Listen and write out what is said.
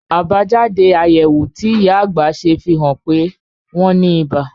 Àbájáde àyẹ̀wò tí ìyá àgbà ṣe fi hàn pé wọ́n ní ibà